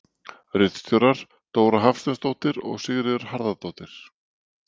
Ritstjórar: Dóra Hafsteinsdóttir og Sigríður Harðardóttir.